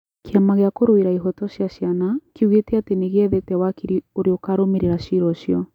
Kĩama gĩa kũrũera ihoto cia ciana kiugete atĩ nĩgĩethete wakiri ũria ũkurũmĩrĩra cira ũcio